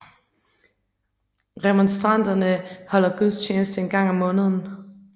Remonstranterne holder gudstjeneste en gang om måneden